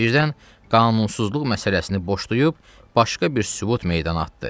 Birdən qanunsuzluq məsələsini boşlayıb, başqa bir sübut meydana atdı.